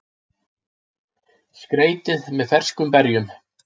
Skreytið með ferskum berjum.